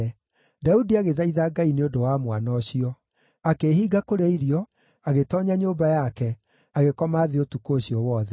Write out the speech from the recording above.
Daudi agĩthaitha Ngai nĩ ũndũ wa mwana ũcio. Akĩĩhinga kũrĩa irio, agĩtoonya nyũmba yake, agĩkoma thĩ ũtukũ ũcio wothe.